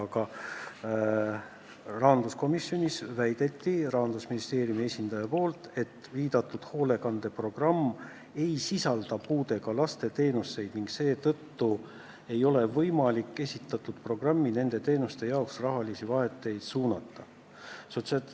Aga rahanduskomisjonis väitis Rahandusministeeriumi esindaja, et viidatud hoolekandeprogramm ei sisalda teenuseid puudega lastele ning seetõttu ei ole võimalik pakutud programmi nende teenuste jaoks raha suunata.